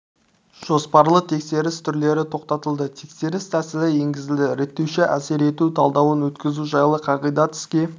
жоспарлы тексеріс түрлері тоқтатылды тексеріс тәсілі енгізілді реттеуші әсер ету талдауын өткізу жайлы қағидат іске